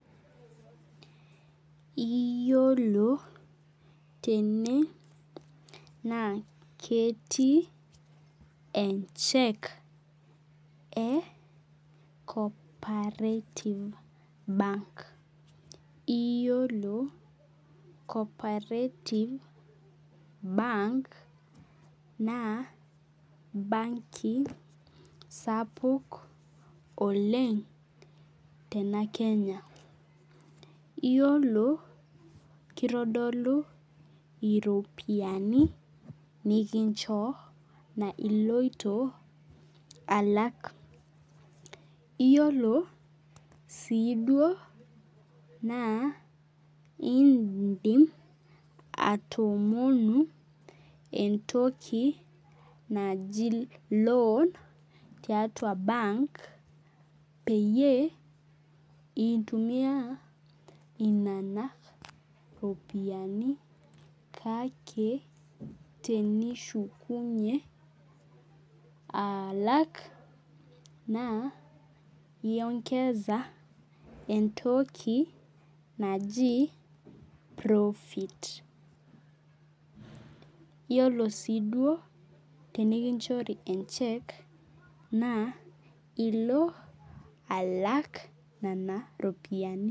Iyolo tene na ketii check e cooperative bank iyolo cooperative bank na banki sapuk oleng tenakenya iyolo kitodolu ropiyani nikinchoo iloito alak iyolo si na indim atoomonu entoki naji loan tiatua bank peyiebintumia inona ropiyani kake tenishukunye alak na iomgeza entoki naji profit iyolo siduo tenikinchori e check na ilo alak nona ropiyani.